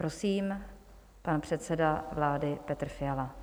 Prosím, pan předseda vlády Petr Fiala.